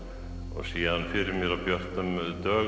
og sé hann fyrir mér á björtum dögum